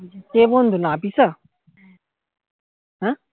কে বন্ধু নাফিসা হ্যাঁ